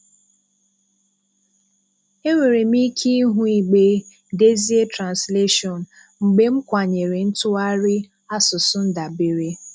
Enwere m ike ịhụ igbe “Dezie Translation,” mgbe m “Kwànyèrè ntụgharị asụsụ ndàbèré